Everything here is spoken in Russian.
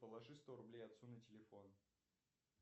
положи сто рублей отцу на телефон